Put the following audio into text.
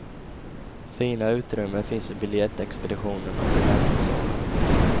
Fina utrymmen finns i biljettexpeditionen och i väntsalen.